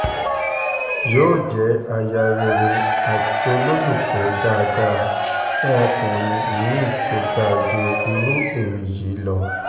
yóò jẹ́ aya rere àti olólùfẹ́ dáadáa fún ọkùnrin mi-ín tó dáa ju irú ẹ̀mí yìí lọ